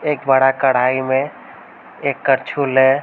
एक बड़ा कढ़ाई में एक कड़छुल है।